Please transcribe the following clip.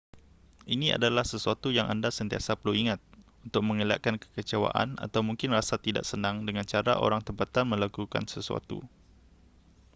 ini adalah sesuatu yang anda sentiasa perlu ingat untuk mengelakkan kekecewaan atau mungkin rasa tidak senang dengan cara orang tempatan melakukan sesuatu